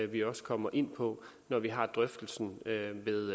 vi også kommer ind på når vi har drøftelsen